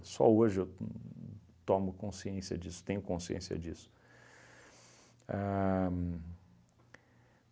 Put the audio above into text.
Só hoje eu uhn tomo consciência disso, tenho consciência disso. A